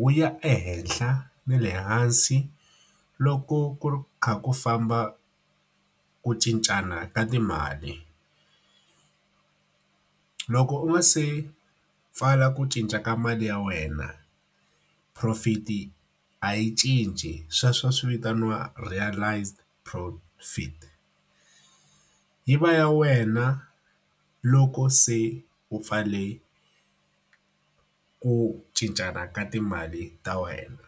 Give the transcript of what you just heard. Wu ya ehenhla ni le hansi loko ku kha ku famba ku cincana ka timali. Loko u nga se pfala ku cinca ka mali ya wena, profit-i a yi cinci. Sweswo swi vitaniwa realized profit. Yi va ya wena loko se u pfarile ku cincana ka timali ta wena.